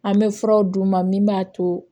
An bɛ furaw d'u ma min b'a to